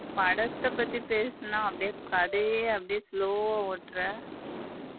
படத்த பத்தி பேசுன அப்படி கதையையே அப்டியே slow வ ஓட்டுற.